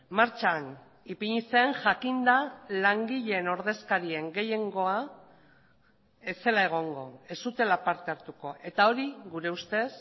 martxan ipini zen jakinda langileen ordezkarien gehiengoa ez zela egongo ez zutela parte hartuko eta hori gure ustez